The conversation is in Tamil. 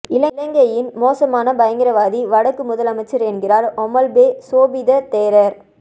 இலங்கையின் மோசமான பயங்கரவாதி வடக்கு முதலமைச்சர் என்கிறார் ஒமல்பே சோபித தேரர்